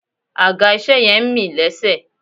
Àga ìṣe yẹn ń mì lésẹ̀